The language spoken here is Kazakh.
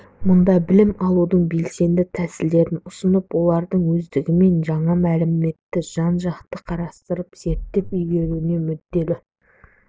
мұнда білім алудың белсенді тәсілдерін ұсынып олардың өздігімен жаңа мәліметті жан-жақты қарастырып зерттеп игеруіне мүдделі